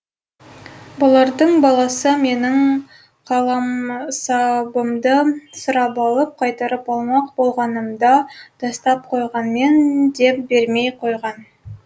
бұлардың баласы менің қаламсабымды сұрап алып қайтарып алмақ болғанымда тастап қойғанмын деп бермей қойған